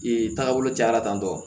Ee tagabolo cayara tan tɔ